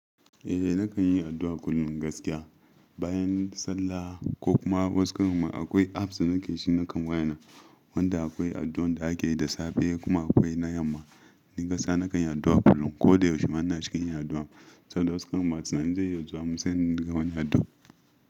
Eh nakan yi addu'a kullum gaskiya bayan sallah ko kuma wasu karan akwai apps da nake shi nakan wayana wanda akwai addu'an da ake yi da safe kuma akwai na yamma ni gaskiya nakan yi addu'a kullum ko da yaushe ma inacikin yin addu'a saboda wasu karanma sai naje nanutsu sai inga banyi addu'a.